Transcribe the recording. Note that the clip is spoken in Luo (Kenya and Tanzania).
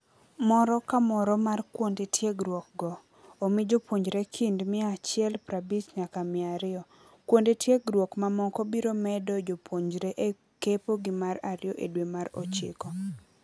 Moro kamoro mar kuonde tiegruok go omi jopuonjre kind mia achiel prabich nyaka miario. Kuonde tiegruok mamoko biro medo jopuonjre e kepo gi mar ario e dwe mar ochiko.